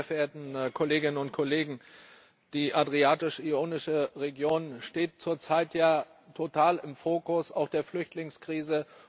Meine sehr verehrten Kolleginnen und Kollegen, die Adriatisch Ionische Region steht zurzeit ja total im Fokus, auch der Flüchtlingskrise.